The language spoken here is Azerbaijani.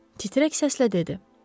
Titrək səslə dedi: